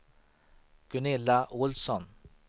Gunilla Olsson